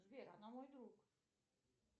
сбер она мой друг